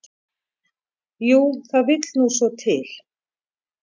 """Jú, það vill nú svo til."""